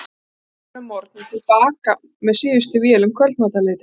Þá flugum við suður að morgni og til baka með síðustu vél um kvöldmatarleytið.